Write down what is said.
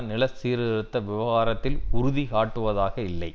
நில சீர்திருத்த விவகாரத்தில் உறுதி காட்டுவதாக இல்லை